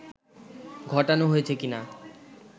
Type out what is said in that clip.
ঘটানো হয়েছে কীনা